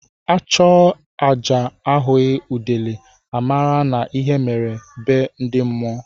Achụọ aja ahughi udele a mara na ihe mere be ndị mmụọ.